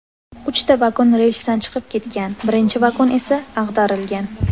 Uchta vagon relsdan chiqib ketgan, birinchi vagon esa ag‘darilgan.